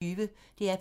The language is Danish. DR P1